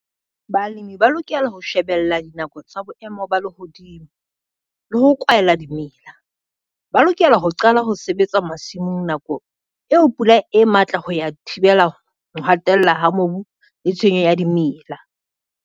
Balemi ba lokela ho shebella dinako tsa boemo ba lehodimo, le ho kwahela dimela. Ba lokela ho qala ho sebetsa masimong nako eo pula e matla ho ya thibela ho hatella ha mobu le tshwenyo ya dimela.